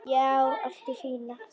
Já, allt í fína.